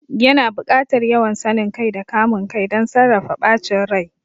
Yana buƙatar yawan sanin kai da kamun kai don sarrafa bacin rai.